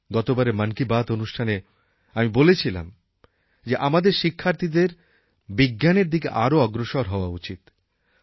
গতবারের মন কি বাত অনুষ্ঠানে আমি বলেছিলাম যে আমাদের শিক্ষার্থীদের বিজ্ঞানের দিকে আরও অগ্রসর হওয়া উচিত